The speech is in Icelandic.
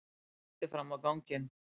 Hún benti fram á ganginn.